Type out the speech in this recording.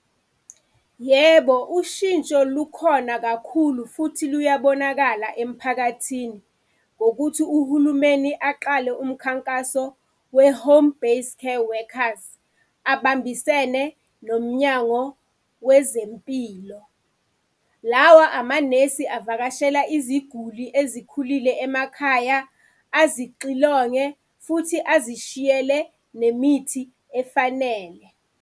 Yebo, ushintsho lukhona kakhulu futhi luyabonakala emphakathini. Ngokuthi uhulumeni aqale umkhankaso we-Home Based Care Workers, abambisene nomnyango wezempilo. Lawa amanesi avakashela iziguli ezikhulile emakhaya, azixilonge futhi azishiyele nemithi efanele.